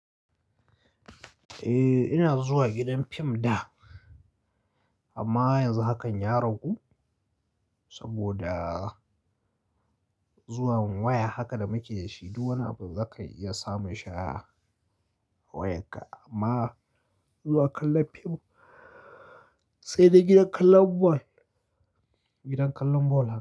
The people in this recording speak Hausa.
Eh, ina zuwa gidan fim da, amma yanzu hakan ya ragu, saboda zuwan waya haka da muke da shi, duk wani abu zaka iya samun shi a wayarka, amma zuwa kallon fim sai dai gidan kallon bol, gidan kallon bol.